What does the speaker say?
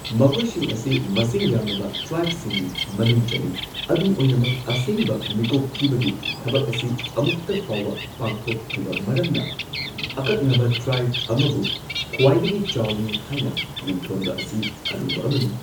ꯃꯈꯣꯏꯁꯤꯡ ꯑꯁꯤ ꯃꯁꯤꯡ ꯌꯥꯝꯂꯕ ꯇ꯭ꯔꯥꯏꯕꯁꯤꯡꯒꯤ ꯃꯅꯨꯡ ꯆꯜꯂꯤ ꯑꯗꯨꯝ ꯑꯣꯏꯅꯃꯛ, ꯑꯁꯦꯡꯕ ꯃꯤꯀꯣꯛ ꯊꯤꯕꯒꯤ ꯊꯕꯛ ꯑꯁꯤ ꯑꯃꯨꯛꯇ ꯐꯥꯎꯕ ꯄꯥꯡꯊꯣꯛꯇ꯭ꯔꯤꯕ ꯃꯔꯝꯅ ꯑꯀꯛꯅꯕ ꯇ꯭ꯔꯥꯏꯕ ꯑꯃꯕꯨ ꯈ꯭ꯋꯥꯏꯗꯒꯤ ꯆꯥꯎꯏ ꯍꯥꯏꯅ ꯃꯤꯡꯊꯣꯟꯕ ꯑꯁꯤ ꯑꯔꯨꯕ ꯑꯃꯅꯤ꯫